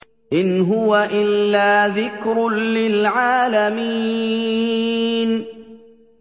إِنْ هُوَ إِلَّا ذِكْرٌ لِّلْعَالَمِينَ